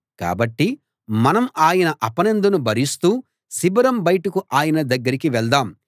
కాబట్టి మనం ఆయన అపనిందను భరిస్తూ శిబిరం బయటకు ఆయన దగ్గరికి వెళ్దాం